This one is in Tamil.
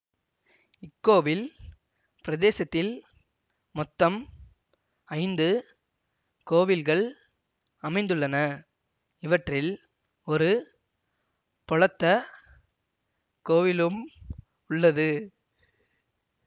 இக்கோவில் பிரதேசத்தில் மொத்தம் ஐந்து கோவில்கள் அமைந்துள்ளன இவற்றில் ஒரு பொளத்தக் கோவிலும் உள்ளது